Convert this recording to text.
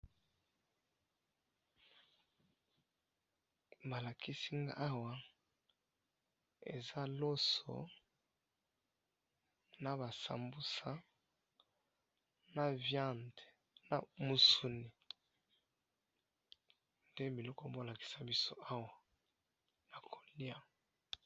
balakisi ngayi awa eza loso naba sambusa na viande musuni nde bazolakisa biso awa ya koliya